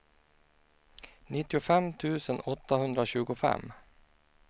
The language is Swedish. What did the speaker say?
nittiofem tusen åttahundratjugofem